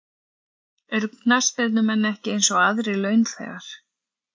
Eru knattspyrnumenn ekki eins og aðrir launþegar?